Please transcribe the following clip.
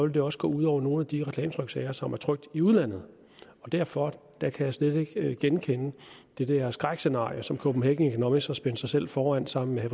det også gå ud over nogle af de reklametryksager som er trykt i udlandet og derfor kan jeg slet ikke genkende det der skrækscenarie som copenhagen economics har spændt sig selv foran sammen med